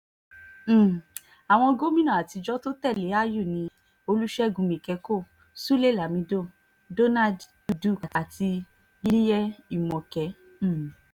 um àwọn àwọn gómìnà àtijọ́ tó tẹ̀lé àyù ni olùṣègùn míkẹ́kọ́ sulé lámido donald duke àti liyel imoke um